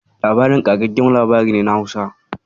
"Labarina" ƙagaggen labari ne na Hausa.